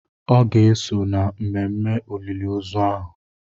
Ọ ga-eso na mmemme olili ozu ahụ.